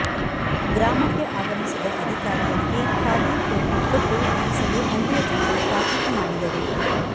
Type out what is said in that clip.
ಗ್ರಾಮಕ್ಕೆ ಆಗಮಿಸಿದ ಅಧಿಕಾರಿಗಳಿಗೆ ಖಾದಿ ಟೋಪಿ ಕೊಟ್ಟು ಧರಿಸಲು ಹಳ್ಳಿಯ ಜನರು ತಾಕಿತು ಮಾಡಿದರು